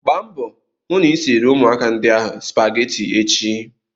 Gba mbọ hụ na ị siri ụmụaka ndi ahụ spageti echi!